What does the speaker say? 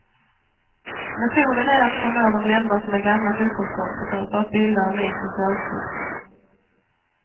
Metoden är att förmå dem lämna sina gamla fotbollskompisar för att bilda en ny specialklubb.